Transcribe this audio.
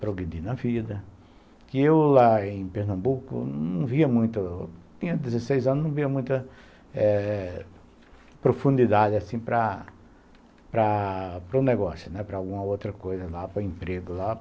progredir na vida, que eu lá em Pernambuco não via muito, eu tinha dezesseis anos, não via muita eh profundidade assim para para um negócio, para alguma outra coisa lá, para emprego lá.